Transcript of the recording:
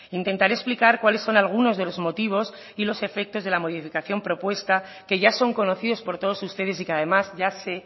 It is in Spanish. intentaré explicar cuáles son algunos de los motivos y los efectos de la modificación propuesta que ya son conocidos por todos ustedes y que además ya sé